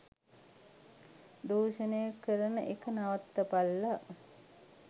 දූෂණය කරන එක නවත්තපල්ලා.